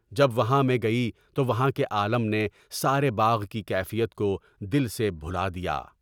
جب وہاں میں گئی تو وہاں کے عالم نے سارے باغ کی کیفیت کو دل سے بھُلا دیا۔